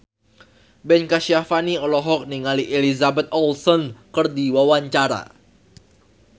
Ben Kasyafani olohok ningali Elizabeth Olsen keur diwawancara